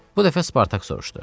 Bu dəfə Spartak soruşdu.